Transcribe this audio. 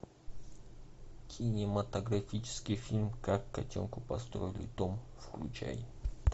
кинематографический фильм как котенку построили дом включай